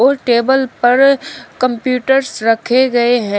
Table पर computers रखे गए हैं।